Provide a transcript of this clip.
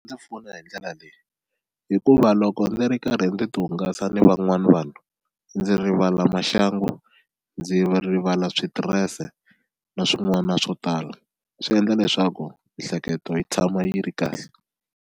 pfuna hi ndlela leyi hikuva loko ndzi ri karhi ndzi ti hungasa ni van'wani vanhu ndzi rivala maxangu ndzi rivala switirese na swin'wana swo tala swi endla leswaku miehleketo yi tshama yi ri kahle.